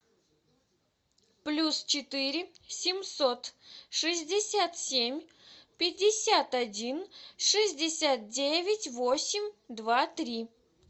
плюс четыре семьсот шестьдесят семь пятьдесят один шестьдесят девять восемь два три